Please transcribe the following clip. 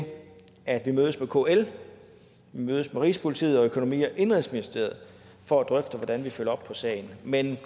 at vi mødes med kl med rigspolitiet og med økonomi og indenrigsministeriet for at drøfte hvordan vi følger op på sagen men